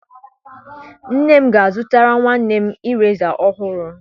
Nne m ga a zụtara nwanne mireza ọhụrụ.